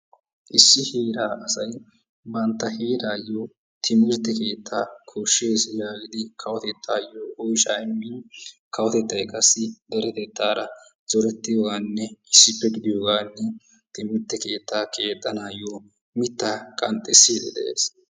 Issi heeraa asay bantta heeraayo timirtte keettaa koshshees yagidi kawotettaayo oyshaa immin, kawotettay qassi deretettaara zorettiyoogaaninne issippe gidiyoogan timirtte keettaa keexanaayo mittaa qanxxisiidi de'ees.